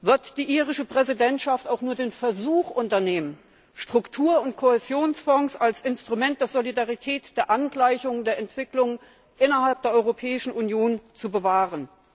Wird die irische Präsidentschaft auch nur den Versuch unternehmen, Struktur und Kohäsionsfonds als Instrument der Solidarität, der Angleichung, der Entwicklung innerhalb der Europäischen Union zu bewahren?